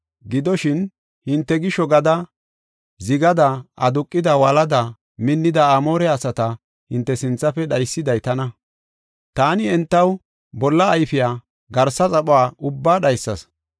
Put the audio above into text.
“Gidoshin, hinte gisho gada zigada aduqida, wolada minnida Amoore asata hinte sinthafe dhaysiday tana. Taani entaw bolla ayfiya, garsa xaphuwa ubbaa dhaysas.